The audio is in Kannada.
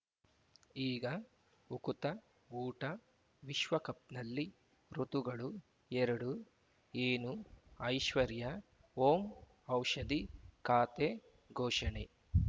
ಈಗ ಉಕುತ ಊಟ ವಿಶ್ವಕಪ್‌ನಲ್ಲಿ ಋತುಗಳು ಎರಡು ಏನು ಐಶ್ವರ್ಯಾ ಓಂ ಔಷಧಿ ಖಾತೆ ಘೋಷಣೆ